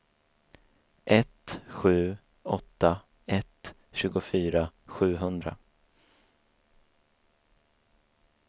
ett sju åtta ett tjugofyra sjuhundra